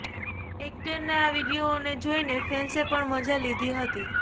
એક્ટરના આ વીડિયોને જોઈને ફેન્સે પણ મજા લીધી હતી